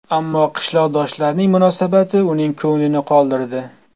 Ammo qishloqdoshlarining munosabati uning ko‘nglini qoldirdi.